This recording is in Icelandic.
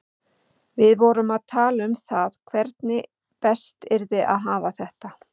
Við vorum að tala um það hvernig best yrði að hafa þetta.